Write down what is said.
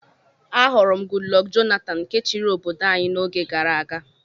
Ahụrụ m Goodluck Jonathan nke chiri obodo anyi na-oge gàrà aga.